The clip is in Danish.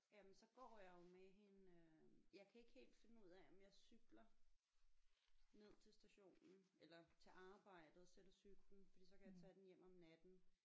Jamen så går jeg jo med hende jeg kan ikke helt finde ud af om jeg cykler ned til stationen eller til arbejde og sætter cyklen fordi så kan jeg tage den hjem om natten